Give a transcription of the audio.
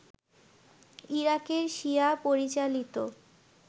ইরাকের শিয়া-পরিচালিত